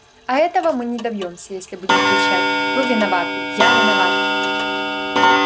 а этого мы не добьёмся если будем кричать вы виноваты я виноват